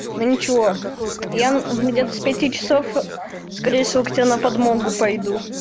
да ничего я где-то с пяти скорее всего на подмогу пойду